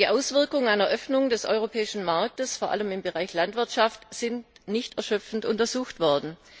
Die Auswirkungen einer Öffnung des europäischen Marktes vor allem im Bereich Landwirtschaft sind nicht erschöpfend untersucht worden.